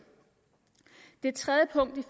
punkt